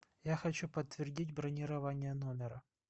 я хочу подтвердить бронирование номера